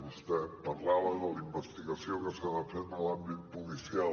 vostè parlava de la investigació que s’ha de fer en l’àmbit policial